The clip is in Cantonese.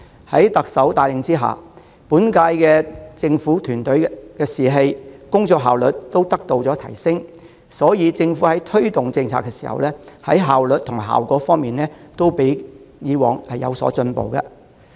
在特首帶領下，本屆政府團隊的士氣和工作效率都得以提升；在推動政策時，無論效率和效果都較以往的政府進步。